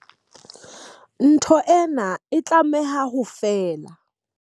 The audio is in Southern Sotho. Ntho ena e tlameha ho fela.